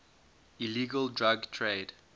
illegal drug trade